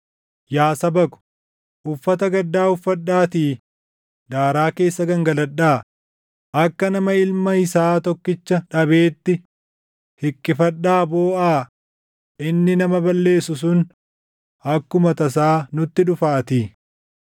Yaa saba ko, uffata gaddaa uffadhaatii daaraa keessa gangaladhaa; akka nama ilma isaa tokkicha dhabeetti hiqqifadhaa booʼaa; inni nama balleessu sun akkuma tasaa nutti dhufaatii.